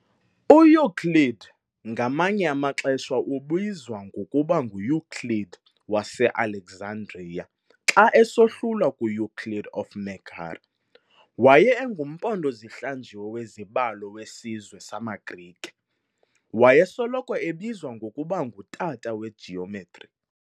UEuclid, ngamanye amaxesha ubizwa ngokuba nguEuclid wase Alexandria xa esohlulwa kuEuclid of Megara, waye engumpondo zihlanjiwe wezibalo wesizwe samaGrike, wayesoloko ebizwa ngokuba ng"utata weGeometry".